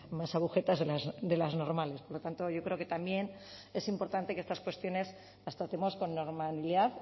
más agujetas de las normales por lo tanto yo creo que también es importante que estas cuestiones las tratemos con normalidad